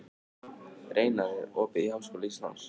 Reinar, er opið í Háskóla Íslands?